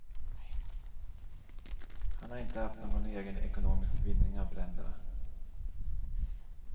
Han har inte haft någon egen ekonomisk vinning av bränderna.